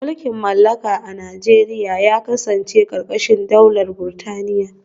Mulkin mallaka a Najeriya ya kasance karkashin daular Burtaniya